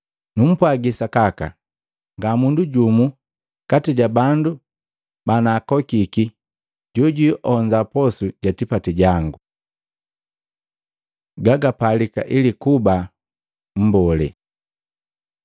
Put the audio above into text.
Numpwagi sakaka, ngamundu jumu kati jabandu banaakokiki jojwionza posu ja tipati jangu!’ ” Gagapalika ili kuba mbolee Matei 10:37-38